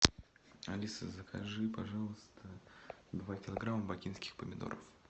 алиса закажи пожалуйста два килограмма бакинских помидоров